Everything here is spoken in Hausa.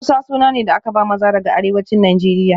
Musa suna ne da aka ba maza daga arewacin Najeriya